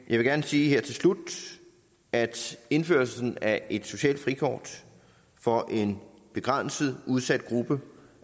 vil gerne sige her til slut at indførelsen af et socialt frikort for en begrænset udsat gruppe